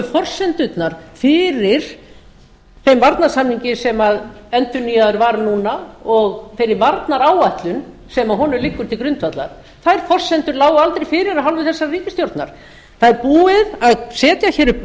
forsendurnar fyrir þeim varnarsamningi sem endurnýjaður var núna og þeirri varnaráætlun sem honum liggur til grundvallar þær forsendur lágu aldrei fyrir af hálfu þessarar ríkisstjórnar það er búið að setja hér upp